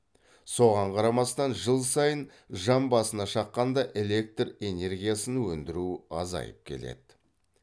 соған қарамастан жыл сайын жан басына шаққанда электр энергиясын өндіру азайып келеді